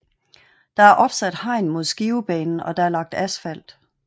Der er opsat hegn mod Skivebanen og der er lagt asfalt